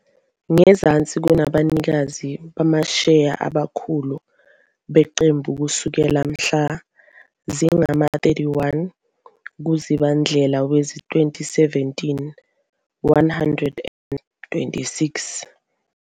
Ngezansi kunabanikazi bamasheya abakhulu beqembu kusukela mhla zingama-31 kuZibandlela wezi-2017 - 126